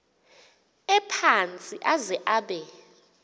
ephantsi aze abe